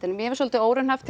mér finnst svolítið óraunhæft